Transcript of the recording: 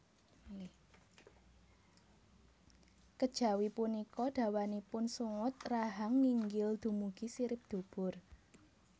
Kejawi punika dawanipun sungut rahang nginggil dumugi sirip dubur